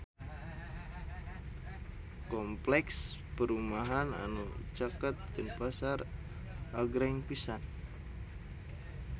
Kompleks perumahan anu caket Denpasar agreng pisan